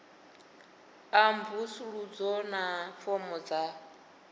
a mvusuludzo na fomo dza